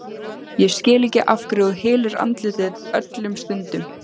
Ég skil ekki af hverju þú hylur andlitið öllum stundum.